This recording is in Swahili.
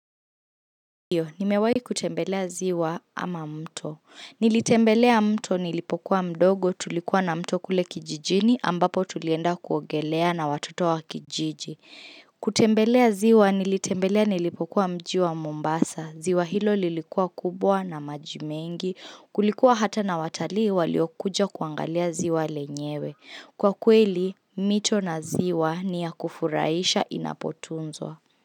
Nimewahi kutembelea ziwa ama mto. Nilitembelea mto nilipokuwa mdogo tulikuwa na mto kule kijijini ambapo tulienda kuogelea na watoto wa kijiji. Kutembelea ziwa nilitembelea nilipokuwa mji wa Mombasa. Ziwa hilo lilikuwa kubwa na maji mengi. Kulikuwa hata na watalii waliokuja kuangalia ziwa lenyewe. Kwa kweli, mito na ziwa ni ya kufurahisha inapotunzwa.